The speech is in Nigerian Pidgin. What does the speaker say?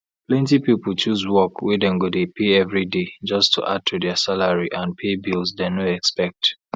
plenty people choose work wey dem go dey pay everyday just to add to dia salary and pay bills dem no expect